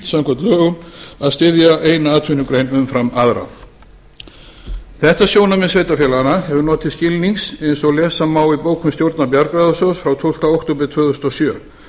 samkvæmt lögum að styðja eina atvinnugrein umfram aðra þetta sjónarmið sveitarfélaganna hefur notið skilnings eins og lesa má í bókun stjórnar bjargráðasjóðs frá tólfti október tvö þúsund og sjö